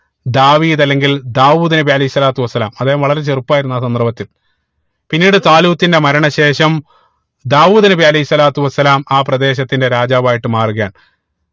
ദാവീദ് അല്ലങ്കിൽ ദാവൂദ് നബി അലൈഹി സ്വലാത്തു വസ്സലാം അദ്ദേഹം വളരെ ചെറുപ്പമായിരുന്നു ആഹ് സന്ദർഭത്തിൽ പിന്നീട് ത്വാലൂത്തിന്റെ മരണ ശേഷം ദാവൂദ് നബി അലൈഹി സ്വലാത്തു വസ്സലാം ആ പ്രദേശത്തിന്റെ രാജാവായിട്ട് മാറുകയാണ്